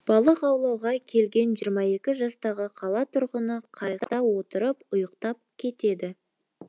балық аулауға келген жиырма екі жастағы қала тұрғыны қайықта отырып ұйықтап кетеді